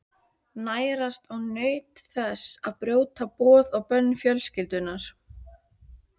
Nærast á nautn þess að brjóta boð og bönn fjölskyldunnar.